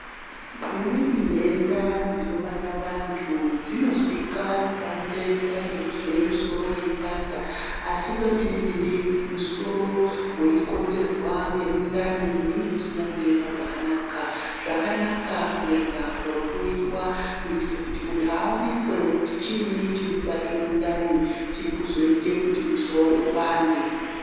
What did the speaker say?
Dzimweni ntenda dzinobata vantu dzinozwikwa kubanze kudai ngekuzwe musoro weipanda asi kwemene mene musoro weikonzerwa ngemundani munenge musina kuema zvakanaka. Zvakanaka kuenda kohloyiwa kuitire kuti muntu awonekwe kuti chiini chiri kubate mundani chiri kuzoite kuti musoro upande.